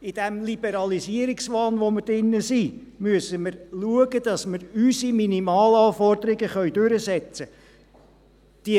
In diesem Liberalisierungswahn, in dem wir sind, müssen wir schauen, dass wir unsere Minimalanforderungen durchsetzen können.